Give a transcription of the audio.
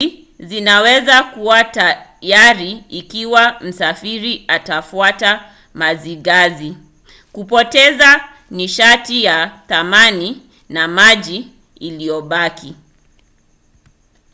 hizi zinaweza kuwa hatari ikiwa msafiri atafuata mazigazi kupoteza nishati ya thamani na maji iliyobaki